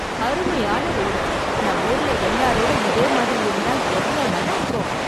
அருமையான ரோடு. நம்மூருல எல்லா ரோடும் இதே மாதிரி இருந்தா எவ்வளவு நல்லா இருக்கும்!